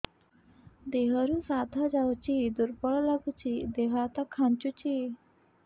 ଦେହରୁ ସାଧା ଯାଉଚି ଦୁର୍ବଳ ଲାଗୁଚି ଦେହ ହାତ ଖାନ୍ଚୁଚି